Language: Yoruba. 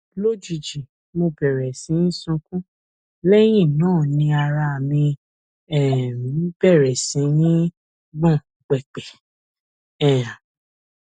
lójijì mo bẹrẹ sí sunkún lẹyìn náà ni ara mí um bẹrẹ sí ní gbọn pẹpẹ um